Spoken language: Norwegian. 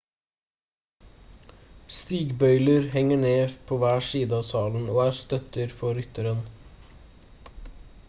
stigbøyler henger ned på hver side av salen og er støtter for rytteren